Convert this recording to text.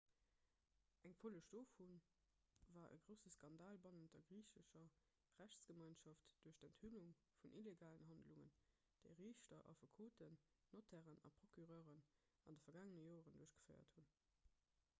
eng folleg dovu war e grousse skandal bannent der griichescher rechtsgemeinschaft duerch d'enthüllung vun illegalen handlungen déi riichter affekoten notairen a procureuren an de vergaangene joren duerchgeféiert hunn